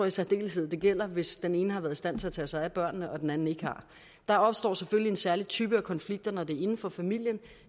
i særdeleshed gælder hvis den ene har været i stand til at tage sig af børnene og den anden ikke har der opstår selvfølgelig en særlig type af konflikter når det er inden for familien